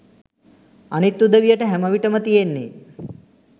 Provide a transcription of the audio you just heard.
අනිත් උදවියට හැමවිටම තියෙන්නේ